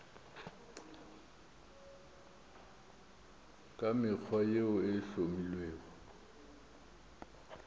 ka mekgwa yeo e hlomilwego